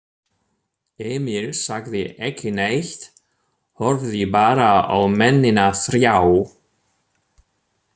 Emil sagði ekki neitt, horfði bara á mennina þrjá.